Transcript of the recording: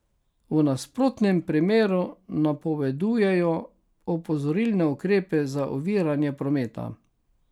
V nasprotnem primeru napovedujejo opozorilne ukrepe za oviranje prometa.